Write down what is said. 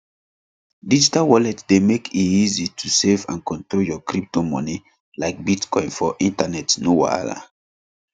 digital wallet dey mek e easy to save and control your crypto money like bitcoin for internet no wahala